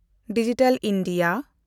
digital India